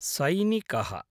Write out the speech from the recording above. सैनिकः